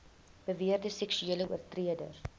beweerde seksuele oortreders